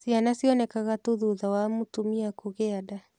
Ciana cionekaga tu thutha wa mũtumia kũgĩa nda.